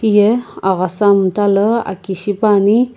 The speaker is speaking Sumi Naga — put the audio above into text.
heyi aghasa iimtalii aki shipani.